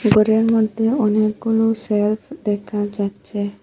ঘরের মধ্যে অনেকগুলো চেয়ার দেখা যাচ্ছে।